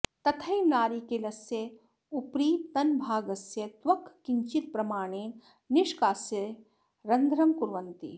तथैव नारिकेलस्य उपरितनभागस्य त्वक् किञ्चित् प्रमाणेन निष्कास्य रन्ध्रं कुर्वन्ति